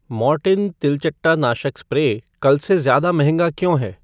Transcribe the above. Mortein तिलचट्टा नाशक spray कल से ज्यादा महंगा क्यों है?